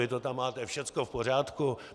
Vy to tam máte všecko v pořádku!